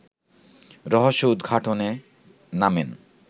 রহস্য-উদঘাটনে নামেন